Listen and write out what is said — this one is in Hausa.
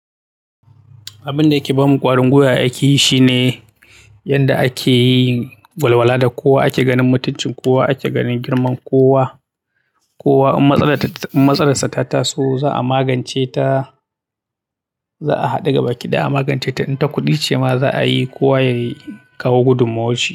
Abin da yake ba mu ƙwarin gwiwa a aiki shi ne yadda ake yin walwala da kowa, ake ganin mutuncin kowa, ake ganin girman kowa. Kowa in matsalar sa ta taso za a magance ta, za a haɗu gabaki ɗaya a magance ta. In ta kuɗi ce ma za a yi kowa ya kawo gudunmawarshi.